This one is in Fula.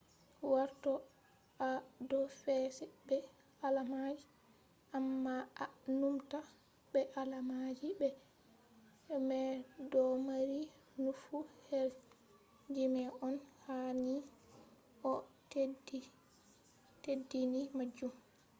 warto a do fece be alamaji ,amma a numta be alamaji mai do mari nufu her jimiji on, ha ni a teddini majum